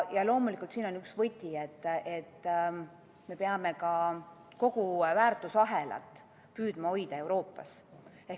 Loomulikult on siin üks võti see, et me peame püüdma hoida kogu väärtusahelat Euroopas.